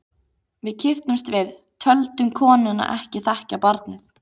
Við kipptumst við, töldum konuna ekki þekkja barnið.